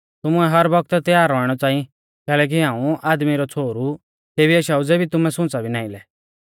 तुमुऐ हर बौगतै तैयार रौइणौ च़ांई कैलैकि हाऊं आदमी रौ छ़ोहरु तेबी आशाऊ ज़ेबी तुमै सुंच़ा भी नाईं लै